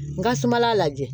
N ka suma lajɛ